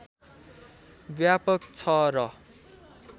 व्यापक छ र